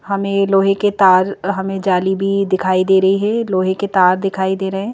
हमें लोहे के तार और हमें जाली भी दिखाई दे रही है लोहे के तार दिखाई दे रहे हैं।